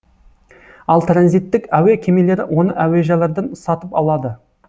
ал транзиттік әуе кемелері оны әуежайлардан сатып алады